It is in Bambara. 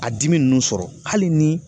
A dimi nunnu sɔrɔ hali ni